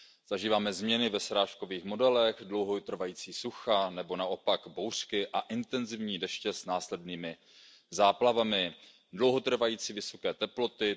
Zažíváme změny ve srážkových modelech, dlouho trvající sucha nebo naopak bouřky a intenzivní deště s následnými záplavami, dlouho trvající vysoké teploty.